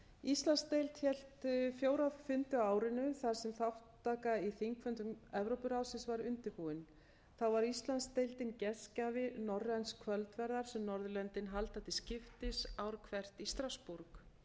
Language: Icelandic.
íslandsdeild hélt fjóra fundi á árinu þar sem þátttaka í þingfundum evrópuráðsins var undirbúin þá var íslandsdeildin gestgjafi norræns kvöldverðar sem norðurlöndin halda til skiptis ár hvert í strassborg